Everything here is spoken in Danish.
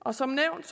og som nævnt